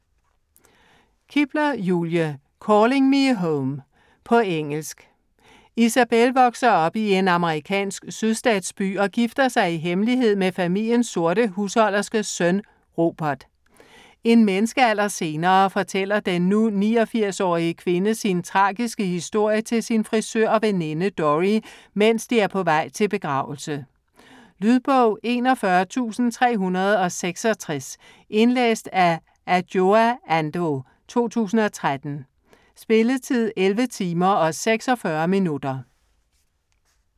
Kibler, Julie: Calling me home På engelsk. Isabelle vokser op i en amerikansk sydstatsby og gifter sig i hemmelighed med familiens sorte husholderskes søn, Robert. En menneskealder senere fortæller den nu 89-årige kvinde sin tragiske historie til sin frisør og veninde Dorrie, mens de er på vej til begravelse. Lydbog 41366 Indlæst af Adjoa Andoh, 2013. Spilletid: 11 timer, 46 minutter.